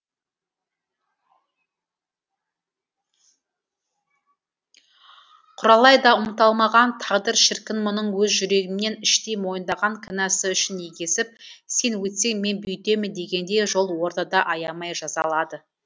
құралай да ұмыта алмаған тағдыр шіркін мұның өз жүрегімен іштей мойындаған кінәсі үшін егесіп сен өйтсең мен бүйтемін дегендей жол ортада аямай жазалады